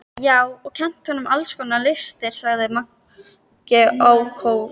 Já, og kennt honum alls konar listir, sagði Maggi ákafur.